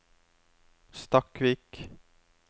Stakkvik